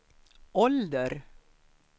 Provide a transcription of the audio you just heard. ålder